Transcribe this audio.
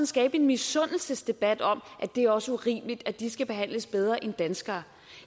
skaber en misundelsesdebat om at det også er urimeligt at de skal behandles bedre end danskere